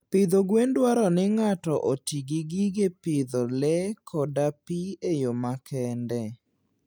Pidho gwen dwaro ni ng'ato oti gi gige pidho lee koda pi e yo makende.